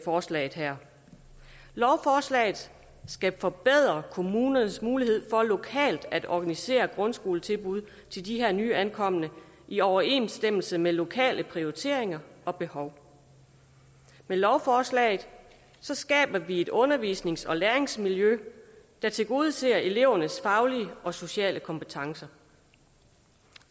forslaget her lovforslaget skal forbedre kommunernes mulighed for lokalt at organisere grundskoletilbud til de her nyankomne i overensstemmelse med lokale prioriteringer og behov med lovforslaget skaber vi et undervisnings og læringsmiljø der tilgodeser elevernes faglige og sociale kompetencer